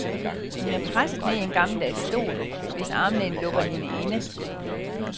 Hun er presset ned i en gammeldags stol, hvis armlæn lukker hende inde.